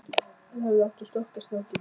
Hann hefði átt að stoppa strákinn.